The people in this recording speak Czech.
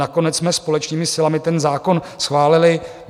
Nakonec jsme společnými silami ten zákon schválili.